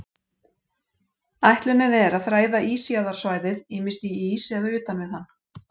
Ætlunin er að þræða ísjaðarsvæðið, ýmist í ís eða utan við hann.